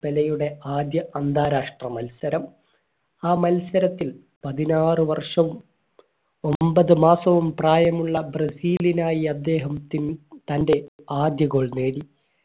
പെലെയുടെ ആദ്യ അന്താരാഷ്ട്ര മത്സരം ആ മത്സരത്തിൽ പതിനാറു വർഷം ഒമ്പത് മാസവും പ്രായമുള്ള ബ്രസീലിനായി അദ്ദേഹം തന്റെ ആദ്യ goal നേടി